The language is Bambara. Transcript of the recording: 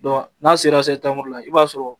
n'a sera la i b'a sɔrɔ